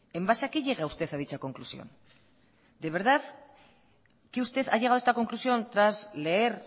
en base a qué llega usted a dicha conclusión de verdad que usted ha llegado a esta conclusión tras leer